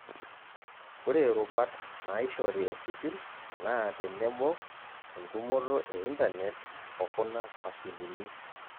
Ore rubat naaishori esipil naa tenebo, entumoto eintanet okuna mashinini.